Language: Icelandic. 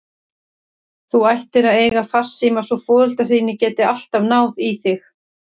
Þú ættir að eiga farsíma svo foreldrar þínir geti alltaf náð í þig.